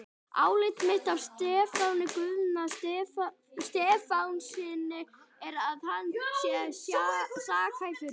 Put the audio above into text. Álit mitt á Stefáni Guðna Stefánssyni er, að hann sé sakhæfur.